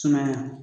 Sumaya